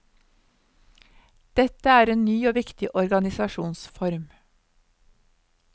Dette er en ny og viktig organisasjonsform.